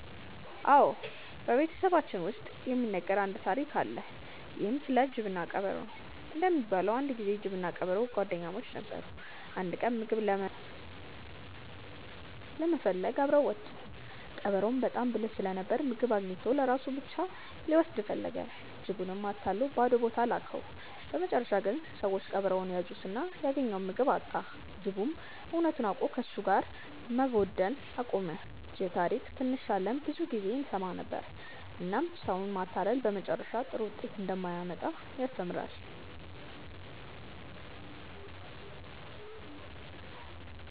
አዎ፣ በቤተሰባችን ውስጥ የሚነገር አንድ ታሪክ አለ። ይህም ስለ ጅብና ቀበሮ ነው። እንደሚባለው አንድ ጊዜ ጅብና ቀበሮ ጓደኛሞች ነበሩ። አንድ ቀን ምግብ ለመፈለግ አብረው ወጡ። ቀበሮው በጣም ብልህ ስለነበር ምግብ አግኝቶ ለራሱ ብቻ ሊወስድ ፈለገ። ጅቡንም አታሎ ባዶ ቦታ ላከው። በመጨረሻ ግን ሰዎች ቀበሮውን ያዙትና ያገኘውን ምግብ አጣ። ጅቡም እውነቱን አውቆ ከእሱ ጋር መጓደን አቆመ። ይህን ታሪክ ትንሽ ሳለን ብዙ ጊዜ እንሰማ ነበር፣ እናም ሰውን ማታለል በመጨረሻ ጥሩ ውጤት እንደማያመጣ ያስተምራል።